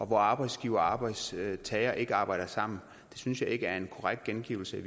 hvor arbejdsgivere og arbejdstagere ikke arbejder sammen det synes jeg ikke er en korrekt gengivelse